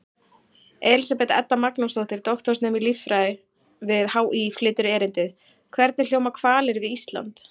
Elísabet Edda Magnúsdóttir, doktorsnemi í líffræði við HÍ, flytur erindið: Hvernig hljóma hvalir við Ísland?